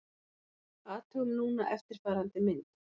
Athugum núna eftirfarandi mynd: